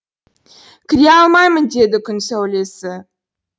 кіре алмаймын деді күн сәулесі